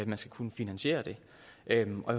man skal kunne finansiere det